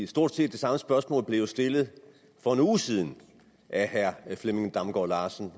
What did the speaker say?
stort set det samme spørgsmål blev jo stillet for en uge siden af herre flemming damgaard larsen